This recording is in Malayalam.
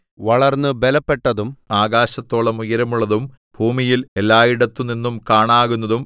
വളർന്നു ബലപ്പെട്ടതും ആകാശത്തോളം ഉയരമുള്ളതും ഭൂമിയിൽ എല്ലായിടത്തുനിന്നും കാണാകുന്നതും